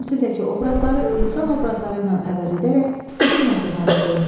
Təmsildəki obrazları insan obrazları ilə əvəz edərək kiçik mətn hazırlayın.